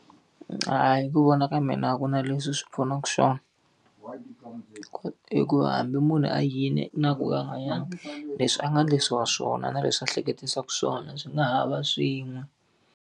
hi ku vona ka mina a ku na leswi swi pfunaka swona. Hikuva hambi munhu a yile na ku va a nga yangi, leswi a nga endlisiwa swona na leswi a hleketisaka swona swi nga ha va swin'we.